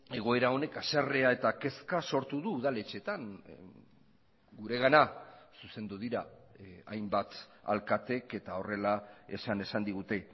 egoera honek haserrea eta kezka sortu du udaletxetan guregana zuzendu dira hainbat alkateek eta horrela esan esan digute